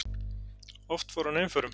Oft fór hann einförum.